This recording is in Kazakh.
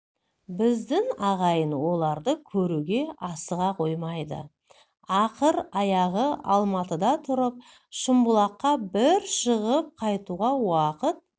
біздің ағайын оларды көруге асыға қоймайды ақыр аяғы алматыда тұрып шымбұлаққа бір шығып қайтуға уақыт